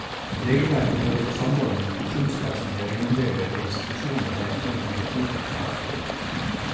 Regelverket både for samordning med pensjonskassene og egenandeler ved institusjoner har vært kjent hele tiden, avsluttet han.